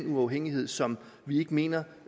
uafhængighed som vi ikke mener